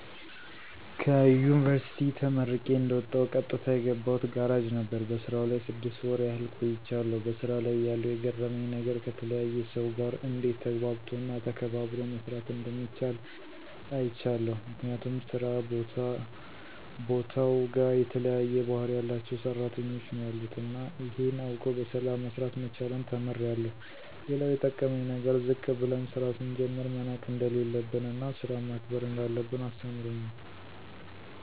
ከዩንቨርስቲ ተመርቄ እንደወጣሁ ቀጥታ የገባሁት ጋራጅ ነበር። በስራው ላይ ስድስት ወር ያህል ቆይቻለሁ። በሥራ ላይ እያለሁ የገረመኝ ነገር ከተለያየ ሰው ጋር እንዴት ተግባብቶ እና ተከባብሮ መስራት እንደሚቻል አይቻለሁ። ምክንያቱም ስራ ቦታውጋ የተለያየ ባህሪ ያላቸው ሰራተኞች ነው ያሉት እና ይሄን አውቆ በሰላም መስራት መቻልን ተምሬአለሁ። ሌላው የጠቀመኝ ነገር ዝቅ ብለን ስራ ስንጀምር መናቅ እንደሌለብን እና ስራን ማክበር እንዳለብን አስተምሮኛል።